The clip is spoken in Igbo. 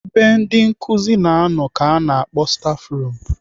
Ebe ndị nkụzi na-anọ ka ana akpọ stafrum.